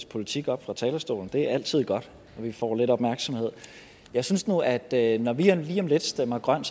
politik op fra talerstolen det er altid godt at vi får lidt opmærksomhed jeg synes nu at at når vi lige om lidt stemmer grønt